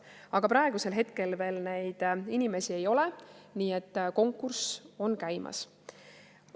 Aga praegusel hetkel veel neid inimesi ei ole, nii et konkurss on käimas.